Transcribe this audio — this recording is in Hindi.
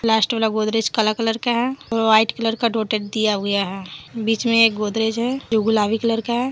लास्ट गोदरेज काला कलर का है और वाइट कलर का डॉटेड दिया हुआ है बीच में एक गोदरेज है जो गुलाबी कलर का है।